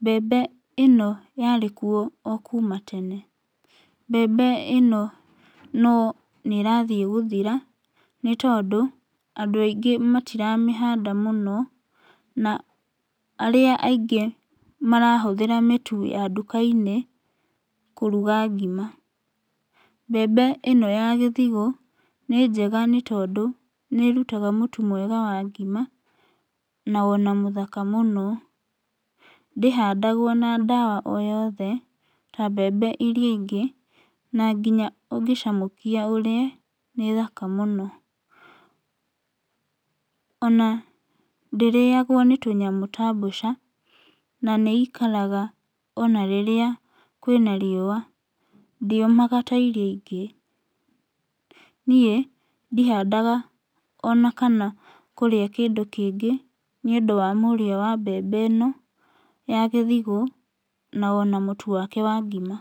Mbembe ĩno yarĩkuo okuma tene. Mbembe ĩno no nĩrathiĩ guthira nĩtondũ andũ aingĩ matiramĩhanda mũno na arĩa aingĩ marahũthĩra mĩtu ya nduka-inĩ kũruga ngima. Mbembe ĩno ya gĩthigũ nĩ njega nĩ tondũ nĩrutaga mũtu mwega wa ngima na ona mũthaka mũno. Ndĩhandagwo na ndawa oyothe ta mbembe iria ingĩ, na ngĩnya ũngĩcamũkia ũrĩe nĩ thaka mũno. Ona ndĩrĩyagwo nĩ tũnyamũ ta mbũca na nĩikaraga ona rĩrĩa kwĩna riũa, ndĩũmaga ta iria ingĩ. Niĩ ndihandaga ona kana kũrĩa kĩndũ kĩngĩ nĩũndũ wa mũrĩo wa mbembe ĩno ya gĩthigũ na ona mũtu wake wa ngima.